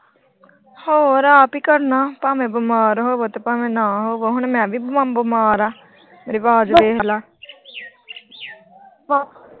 ਹੋਰ ਆਪ ਈ ਕਰਨਾ ਭਾਵੇਂ ਬੀਮਾਰ ਹੋਵੋ ਭਾਵੇਂ ਨਾ ਹੋਵੋ ਹੁਣ ਮੈਂ ਵੀ ਬਿਮਾਰ ਆ ਮੇਰੀ ਅਵਾਜ ਦੇਖਲਾ